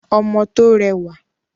Ọmọ tó rẹwà.